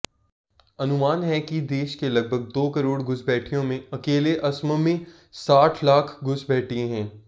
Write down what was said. अनुमान है कि देशके लगभग दो करोड घुसपैठियोंमें अकेले असममें साठ लाख घुसपैठिये हैं